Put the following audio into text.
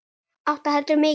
Átta heldur mikið.